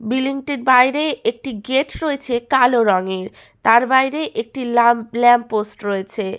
Building টির বাইরে একটি গেট রয়েছে কালো রঙের তার বাইরে একটি ল্যাম্প ল্যাম্পপোস্ট রয়েছে।